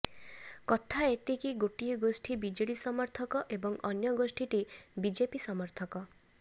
କଥା ଏତିକି ଗୋଟିଏ ଗୋଷ୍ଠୀ ବିଜେଡି ସମର୍ଥକ ଏବଂ ଅନ୍ୟ ଗୋଷ୍ଠୀଟି ବିଜେପି ସମର୍ଥକ